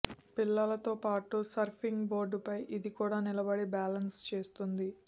పిల్లలతో పాటు సర్ఫింగ్ బోర్డుపై ఇది కూడా నిలబడి బ్యాలెన్స్ చేస్తుంది